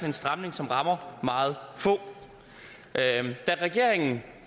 en stramning som rammer meget få da regeringen